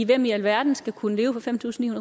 hvem i alverden skal kunne leve for fem tusind